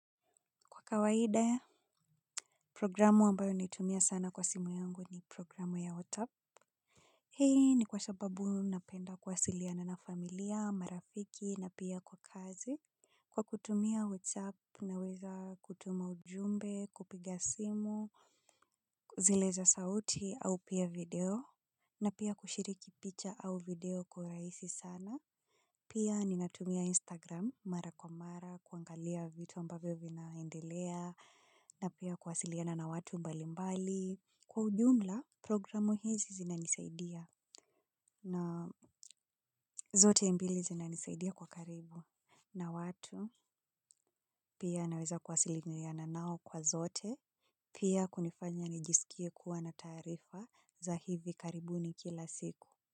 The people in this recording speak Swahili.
Kwa kawaida, programu ambayo naitumia sana kwa simu yangu ni programu ya WhatsApp. Hii ni kwa sababu napenda kuwasiliana na familia, marafiki na pia kwa kazi. Kwa kutumia WhatsApp, naweza kutuma ujumbe, kupiga simu, kuzieleza sauti au pia video. Na pia kushiriki picha au video kwa rahisi sana. Pia ninatumia Instagram mara kwa mara, kuangalia vitu ambavyo vinaendelea, na pia kuwasiliana na watu mbalimbali. Kwa ujumla, programu hizi zinanisaidia na zote mbili zinanisaidia kwa karibu. Na watu, pia naweza kuwasiliana nao kwa zote, pia kunifanya nijisikie kuwa na taarifa za hivi karibuni kila siku.